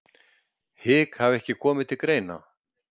Hik hafi ekki komið til greina